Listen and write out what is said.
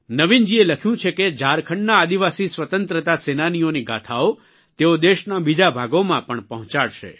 નવીનજીએ લખ્યું છે કે ઝારખંડના આદિવાસી સ્વતંત્રતા સેનાનીઓની ગાથાઓ તેઓ દેશના બીજા ભાગોમાં પણ પહોંચાડશે